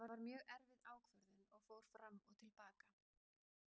Þetta var mjög erfið ákvörðun og fór fram og til baka.